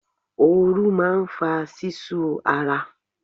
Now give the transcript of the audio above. Ooru máa ń fa ṣíṣú ara.